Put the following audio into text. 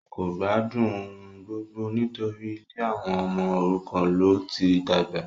kò gbádùn ohungbogbo nítorí ilé àwọn ọmọ òrukàn ló ti dàgbà